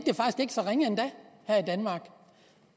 så ringe endda her i danmark